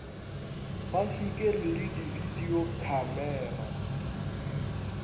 ba šikere le dibidio khamera